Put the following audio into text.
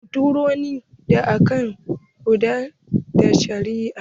Kotu wuri ne da ake gudanar da shari'a.